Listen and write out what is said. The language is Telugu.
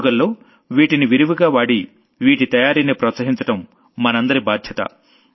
పండుగల్లో వీటిని విరివిగా వాడి వీటి తయారీని ప్రోత్సహించడం మనందరి బాధ్యత